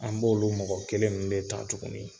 An b'olu mɔgɔ kelen nunnu de ta tuguni.